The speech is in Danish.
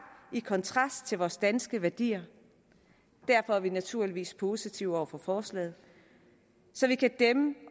kontrast til vores danske værdier derfor er vi naturligvis positive over for forslaget så vi kan dæmme